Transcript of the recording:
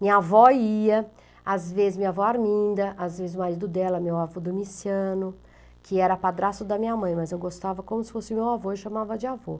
Minha avó ia, às vezes minha avó Arminda, às vezes o marido dela, meu avô Domiciano, que era padrasto da minha mãe, mas eu gostava como se fosse meu avô, eu chamava de avô.